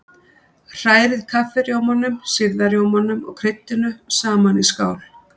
Hrærið kaffirjómanum, sýrða rjómanum og kryddinu saman í skál.